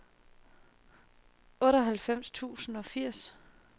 otteoghalvfems tusind og firs